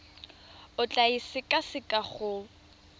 o tla e sekaseka go